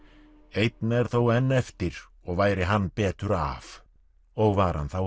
einn er þó enn eftir og væri hann betur af og var hann þá